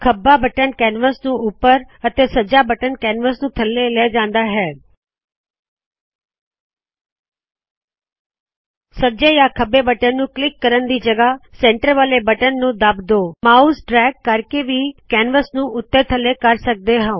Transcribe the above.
ਖੱਬਾ button canvas ਨੁ ਉੱਪਰ ਅਤੇ ਸੱਜਾ ਬਟਨ ਕੈਨਵਾਸ ਨੂ ਥੱਲੇ ਲੇ ਜਾੱਦਾ ਹੈ ਜੀਟੀ ਸੱਜੇ ਜਾੰ ਖੱਬੇ ਬਟਨ ਨੂੰ ਕਲਿੱਕ ਕਰਨ ਦੀ ਜਗਹ ਸੈਂਟਰ ਵਾਲੇ ਬਟਨ ਨੂੰ ਦੱਬ ਕੇ ਮਾਉਸ ਡਰੈਗ ਕਰਕੇ ਵੀ ਕੈਨਵਸ ਨੂ ਉਤੇ ਥੱਲੇ ਕਰ ਸਕਦੇ ਹੋ